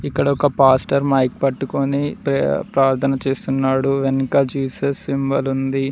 ఇక్కడ ఒక pastor mic పట్టుకొని ప్రే ప్రార్థన చేస్తున్నాడు వెనుక జీసస్ సింబల్ ఉంది.